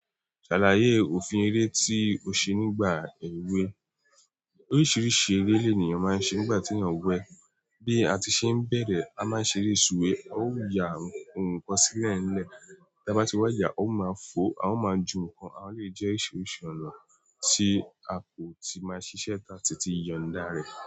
Ṣàlàyé òfin eré tí o ṣe nígbà èwe. Oríṣiríṣi eré lèniyàn máa ń ṣe nígbà tí èèyàn wẹ. Bi àti ṣe ń bẹrẹ, ama ṣere suwe a ó yà nkán sí ilé nle, tábà tí wá yà, a o ma ju nkán, alè jẹ oríṣiríṣi ọ̀nà ti ako ti ma ṣiṣe táti si yọ̀nda.